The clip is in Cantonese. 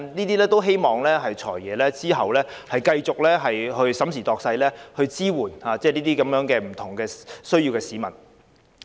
我們希望"財爺"之後繼續審時度勢，考慮這些安排，從而支援有不同需要的市民。